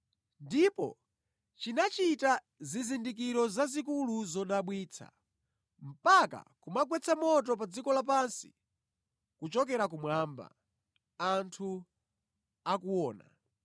Ndipo chinachita zizindikiro zazikulu zodabwitsa, mpaka kumagwetsa moto pa dziko lapansi kuchokera kumwamba anthu akuona.